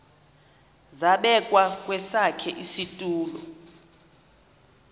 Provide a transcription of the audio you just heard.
zabekwa kwesakhe isitulo